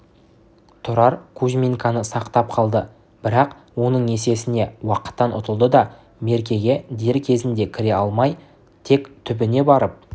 тұрар кузьминканы сақтап қалды бірақ оның есесіне уақыттан ұтылды да меркеге дер кезінде кіре алмай тек түбіне барып